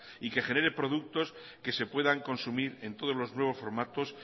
y que genere productos que se puedan consumir en todos los nuevos formatos